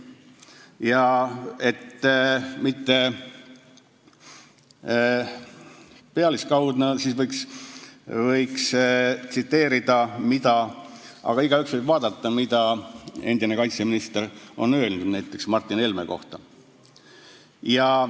Ja et mitte jääda pealiskaudseks, võiksin teda tsiteerida, aga igaüks võib ise vaadata, mida endine kaitseminister on öelnud näiteks Martin Helme kohta.